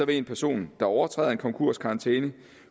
en person der overtræder en konkurskarantæne